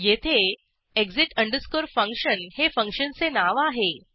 येथे exit अंडकस्कोरfunction हे फंक्शनचे नाव आहे